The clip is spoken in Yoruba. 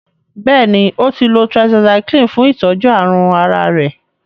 béèni o tí lọ tetracycline fún itọjú àrùn àrà rẹ.